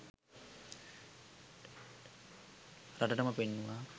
රටටම පෙන්නුවා.